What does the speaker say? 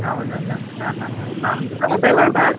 ಹೌದೌದ, ಹಾ ಹಾ ಹಾ ನಮ್ದು